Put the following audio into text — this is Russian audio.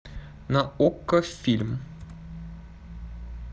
на окко фильм